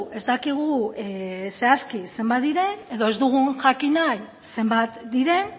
ez dakigu zehazki zenbat diren edo ez dugu jakin nahi zenbat diren